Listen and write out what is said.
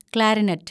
clarinet